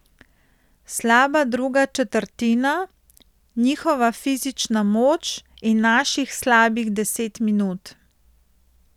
Slaba druga četrtina, njihova fizična moč in naših slabih deset minut.